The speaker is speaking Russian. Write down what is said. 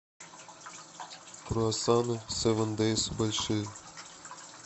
круассаны севен дейз большие